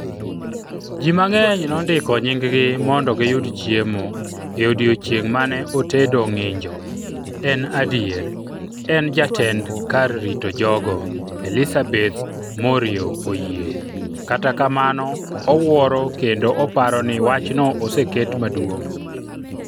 Ji mang'eny nondiko nyinggi mondo giyud chiemo e odiechieng' mane otedo ng'injo, en adier, en jatend kar rito jogo Elisabeth Moreau oyie, kata kamano owuoro kendo oparo ni wachno oseket maduong'.